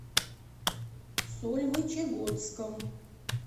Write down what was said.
сольвычегодском